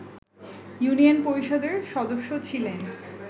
union পরিষদের সদস্য ছিলেন